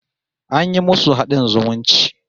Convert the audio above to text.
An yi musu haɗin zumunci